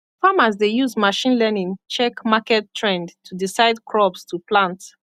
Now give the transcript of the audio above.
farmers dey use machine learning check market trend to decide crops to plant